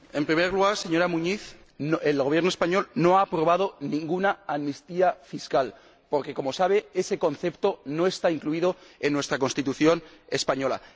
En primer lugar, señora Muñiz, el Gobierno español no ha aprobado ninguna amnistía fiscal porque, como sabe, ese concepto no está incluido en la Constitución española.